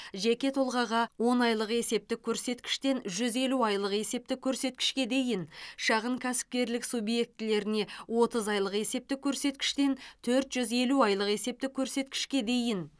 жеке тұлғаға он айлық есептік көрсеткіштен жүз елу айлық есептік көрсеткішке дейін шағын кәсіпкерлік субъектілеріне отыз айлық есептік көрсеткіштен төрт жүз елу айлық есептік көрсеткішке дейін